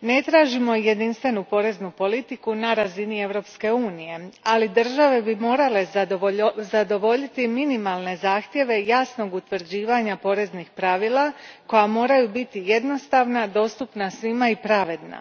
ne tražimo jedinstvenu poreznu politiku na razini Europske unije, ali države bi morale zadovoljiti minimalne zahtjeve jasnog utvrđivanja poreznih pravila koja moraju biti jednostavna, dostupna svima i pravedna.